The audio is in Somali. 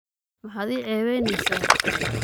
Maxad iiceyweyneza?